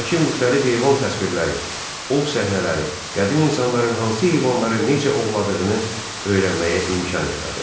Buradakı müxtəlif heyvan təsvirləri, ov səhnələri qədim insanların hansı heyvanları necə ovladığını öyrənməyə imkan yaradır.